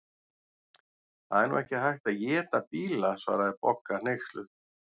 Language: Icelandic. Það er nú ekki hægt að éta bíla svaraði Bogga hneyksluð.